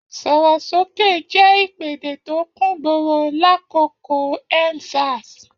Sọ̀rọ̀ sókè jẹ́ ìpèdè tó kúngboro lákòókò End Sars.